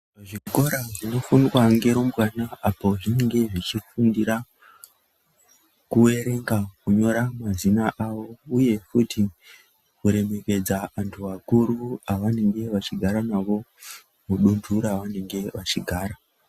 Zvikora zvinofundwa ngerumbawana apo zviinenge zvechifundira kuerenga ,kunyora mazina avo uye futi kuremekedza anhu akuru avanenge vachigara navo mudunhu raanenge achigara.